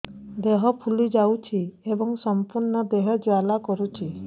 ଦେହ ଫୁଲି ଯାଉଛି ଏବଂ ସମ୍ପୂର୍ଣ୍ଣ ଦେହ ଜ୍ୱାଳା କରୁଛି